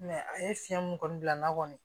a ye fiɲɛ mun kɔni bila n na kɔni